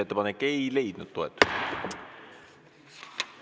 Ettepanek ei leidnud toetust.